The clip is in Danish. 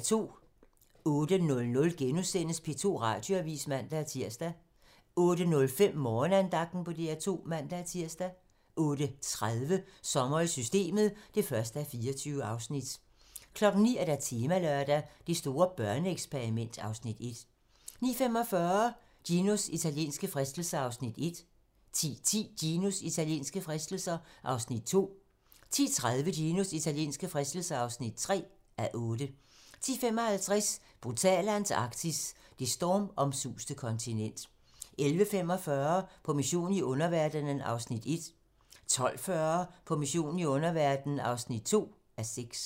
08:00: P2 Radioavis *(man-tir) 08:05: Morgenandagten på DR2 (man-tir) 08:30: Sommer i systemet (1:24) 09:00: Temalørdag: Det store børneeksperiment (Afs. 1) 09:45: Ginos italienske fristelser (1:8) 10:10: Ginos italienske fristelser (2:8) 10:30: Ginos italienske fristelser (3:8) 10:55: Brutale Antarktis - det stormomsuste kontinent 11:45: På mission i underverdenen (1:6) 12:40: På mission i underverdenen (2:6)